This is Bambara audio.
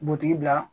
Butigi la